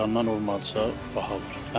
İrandan olmadısa, baha olar.